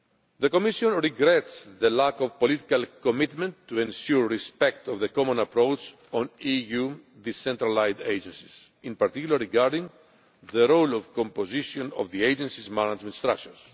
The Commission regrets the lack of political commitment to ensure respect for the common approach on EU decentralised agencies, in particular regarding the role and composition of the agency's management structures.